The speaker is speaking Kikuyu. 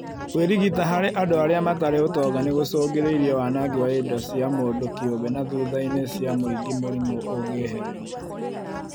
Kwĩrigita harĩ andũ arĩa matarĩ ũtonga no gũcũngĩrĩrie wanangi wa indo cia mũndũ kĩũmbe na thutha inĩ cia mũingĩ mũrimũ ũngĩĩhĩrĩria